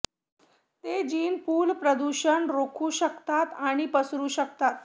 ते gene pool प्रदूषण रोखू शकतात आणि पसरू शकतात